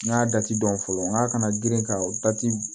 N y'a dɔn fɔlɔ n k'a kana girin ka dati